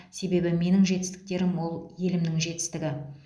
себебі менің жетістіктерім ол елімнің жетістігі